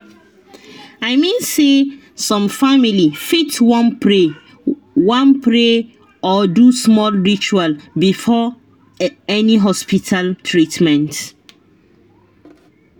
i mean say some family fit wan pray wan pray or do small ritual before any hospita treatment